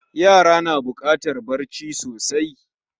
Yara na bukatar bacci sosai